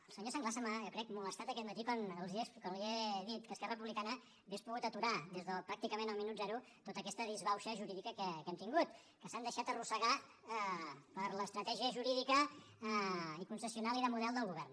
el senyor sanglas se m’ha jo ho crec molestat aquest matí quan li he dit que esquerra republicana hauria pogut aturar des de pràcticament el minut zero tota aquesta disbauxa jurídica que hem tingut que s’han deixat arrossegar per l’estratègia jurídica i concessional i de model del govern